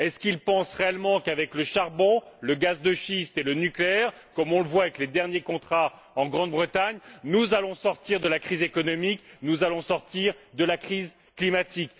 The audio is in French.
Est ce qu'ils pensent réellement qu'avec le charbon, le gaz de schiste et le nucléaire, comme on le voit avec les derniers contrats en Grande Bretagne, nous allons sortir de la crise économique, nous allons sortir de la crise climatique?